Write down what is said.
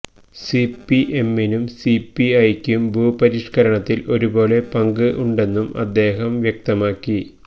സിപിഎമ്മിനു സിപിഐക്കും ഭൂപരിഷ്കരണത്തിൽ ഒരു പോലെ പങ്ക് ഉണ്ടെന്നും അദ്ദേഹം വ്യക്തമാക്കി